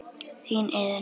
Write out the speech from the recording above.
Þín, Iðunn.